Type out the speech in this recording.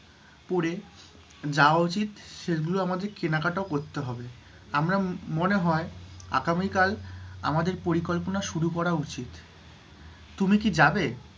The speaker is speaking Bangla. পরে যাওয়া উচিৎ, সেগুলো আমাদের কেনাকাটাও করতে হবে, আমরা, মনে হয় আগামীকাল, আমাদের পরিকল্পনা শুরু করা উচিৎ, তুমি কি যাবে?